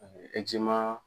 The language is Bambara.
E ji man.